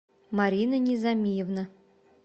марина низамиевна